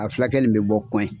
A fulakɛ nin mi bɔ kuwɛn